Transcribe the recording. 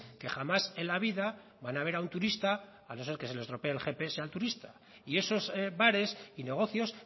que jamás en la vida van a ver un turista a no ser que se le estropee el gps al turista y esos bares y negocios